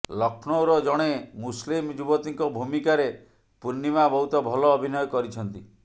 ଲକ୍ଷ୍ନୌର ଜଣେ ମୁସଲିମ୍ ଯୁବତୀଙ୍କ ଭୂମିକାରେ ପୂର୍ଣ୍ଣିମା ବହୁତ ଭଲ ଅଭିନୟ କରିଛନ୍ତି